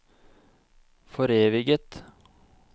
foreviget